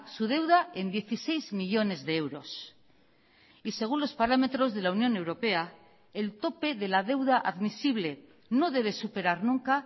su deuda en dieciséis millónes de euros y según los parámetros de la unión europea el tope de la deuda admisible no debe superar nunca